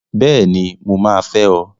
Bẹ́ẹ̀ni! Mo máa fẹ́ ọ!